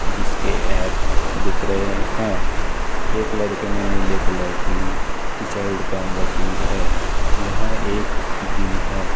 जिसके ऐप्स दिख रहे हैं एक लड़के ने नीले कलर की टी शर्ट पहन रखी हैं यह एक जिम है।